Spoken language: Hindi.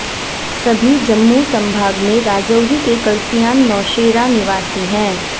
सभी जम्मू संभाग में राजौरी के कलसियान नौशेरा निवासी हैं